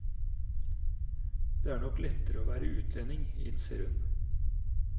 Det er nok lettere å være utlending, innser hun.